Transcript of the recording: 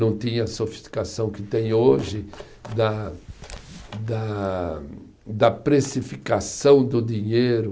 Não tinha a sofisticação que tem hoje da da da precificação do dinheiro.